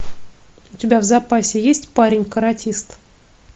у тебя в запасе есть парень каратист